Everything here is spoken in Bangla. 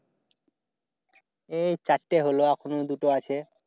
এই চারটে হল এখন ও দুটো আছে।